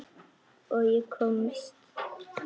Og ég komst.